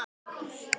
Efinn kvelur þá.